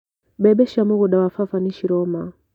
Mbembe cia mũgunda wa baba nĩciroma.